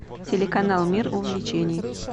телеканал мир увлечений